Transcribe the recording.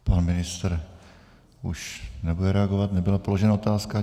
Pan ministr už nebude reagovat, nebyla položena otázka.